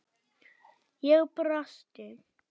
Ég brosti.